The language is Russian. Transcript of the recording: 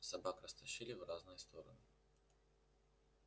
собак растащили в разные стороны